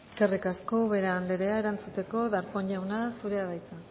eskerrik asko ubera anderea erantzuteko darpón jauna zurea da hitza